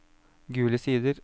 Gule Sider